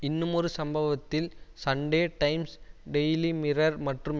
இன்னுமொரு சம்பவத்தில் Sunday Times Daily Mirror மற்றும்